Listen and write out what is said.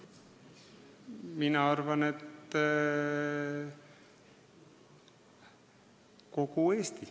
Mina arvan, et kogu Eesti.